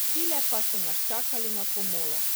Tile pa so nas čakali na pomolu.